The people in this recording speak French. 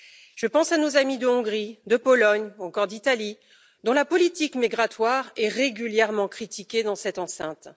Je pense à nos amis de Hongrie, de Pologne ou encore d'Italie, dont la politique migratoire est régulièrement critiquée dans cette enceinte.